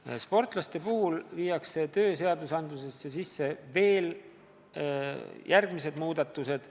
Tööseadustikku tehakse veel järgmised sportlasi puudutavad muudatused.